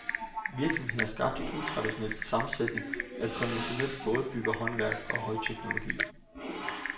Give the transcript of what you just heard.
Virksomheden har skabt en utraditionel sammensætning af konventionelt bådbyggerhåndværk og højteknologi.